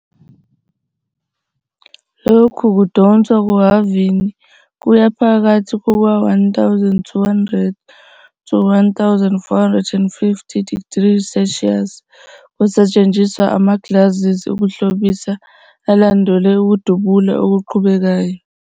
Lokhu kudonswa kuhhavini kuya phakathi kuka-1,200-1,450 degrees Celsius. Kusetshenziswa ama-glazes okuhlobisa alandelwe ukudubula okuqhubekayo.